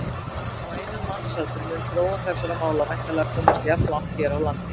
Á einum mannsaldri mun þróun þessara mála væntanlega komast jafnlangt hér á landi.